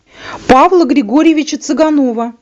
павла григорьевича цыганова